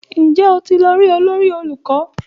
Ǹjẹ́ o ti lọ rí olórí olùkọ́?